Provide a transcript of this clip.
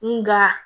Nga